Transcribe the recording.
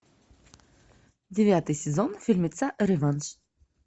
девятый сезон фильмеца реванш